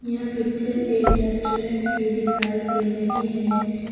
यह पिक्चर एक रेस्टोरेंट की दिखाई दे रही है।